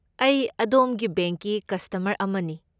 ꯑꯩ ꯑꯗꯣꯝꯒꯤ ꯕꯦꯡꯛꯀꯤ ꯀꯁꯇꯃꯔ ꯑꯃꯅꯤ꯫